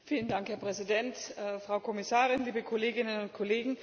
Herr Präsident, Frau Kommissarin, liebe Kolleginnen und Kollegen!